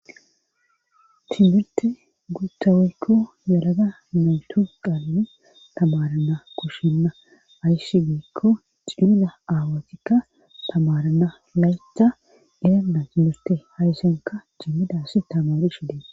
timmirte guttoweekko yalaga naytu qalani tamarana koshenna aysshi giikko cimida aawatikka tamarana laytha irenda timmirte hayssanka cimmidas tamaru shidee